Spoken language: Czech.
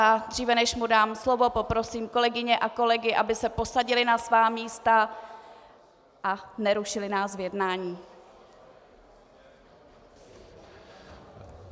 A dříve než mu dám slovo, poprosím kolegyně a kolegy, aby se posadili na svá místa a nerušili nás v jednání.